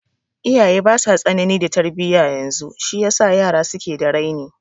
Iyaye basa tsanani da tarbiya yanzu shi yasa yara suke da raini